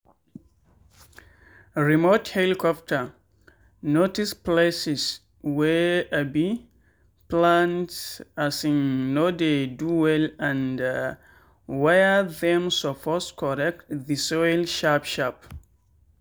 remote helicopter notice places wey um plant um no dey do well and where them suppose correct the soil sharp sharp.